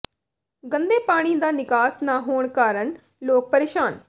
ਗੰਦੇ ਪਾਣੀ ਦਾ ਨਿਕਾਸ ਨਾ ਹੋਣ ਕਾਰਨ ਲੋਕ ਪਰੇਸ਼ਾਨ